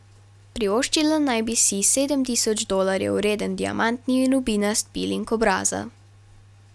Privoščila naj bi si sedem tisoč dolarjev vreden diamantni in rubinast piling obraza.